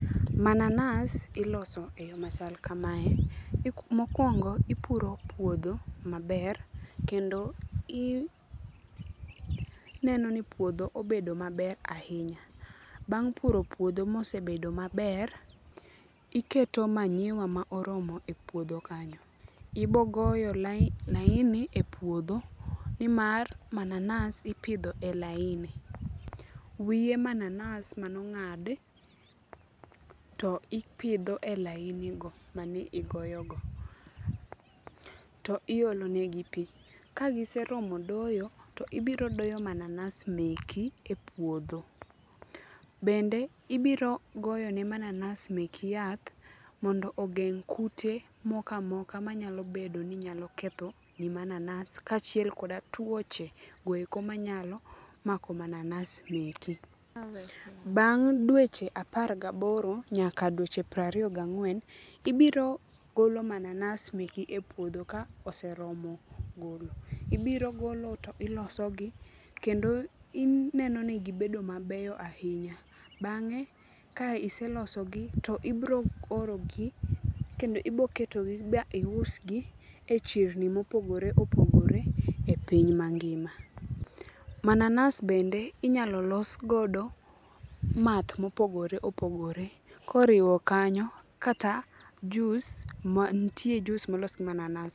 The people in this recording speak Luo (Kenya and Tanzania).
Mananas iloso e yo machal kamae. Mokwongo ipuro puodho maber kendo ineno ni puodho obedo maber ahinya. Bang' puro puodho mosebedo maber, iketo manyiwa ma oromo e puodho kanyo. Ibogoyo laini e puodho, nimar mananas ipidho e laini. Wiye mananas manong'adi to ipidho elainigo manigoyogo, to iolonegi pi. Kagiseromo doyo, to ibirodoyo mananas meki e puoho. Bende ibiro goyone mananas meki yath mondo ogeng' kute mokamoka manyalo bedo ni nyalo kethoni mananas kaachiel koda tuoche goeko manyalo mako mananas meki. Bang' dweche apar gaboro nyaka dweche prariyo gang'wen, ibrogolo mananas meki e puodho ka oseromo golo. Ibiro golo to ilosogi kendo ineno ni gibedo mabeyo ahinya. Bang'e ka iselosogi to ibro orogi kendo iboketogi ba iusgi e chirni mopogore opogore e piny mangima. Mananas bende inyalo losgodo math mopogore opogore, koriwo kanyo kata jus mantie jus molos gi mananas.